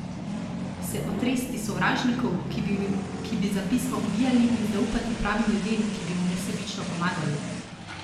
Se otresti sovražnikov, ki bi za pismo ubijali, in zaupati pravim ljudem, ki bi mu nesebično pomagali?